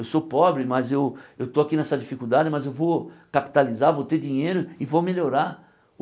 Eu sou pobre, mas eu eu estou aqui nessa dificuldade, mas eu vou capitalizar, vou ter dinheiro e vou melhorar.